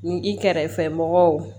Ni i kɛrɛfɛ mɔgɔw